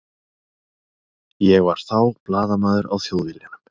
Ég var þá blaðamaður á Þjóðviljanum.